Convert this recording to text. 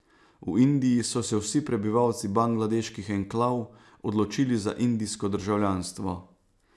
V Indiji so se vsi prebivalci bangladeških enklav odločili za indijsko državljanstvo.